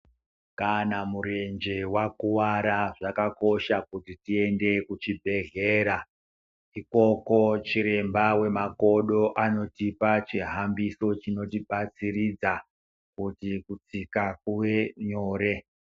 Kana murenje wakuwara zvakakosha kuti tiende kuchibhehlera. Ikoko chiremba wemakodo anotopa chihambiso chinotibatsiridza kuti kutsika kuve nyore.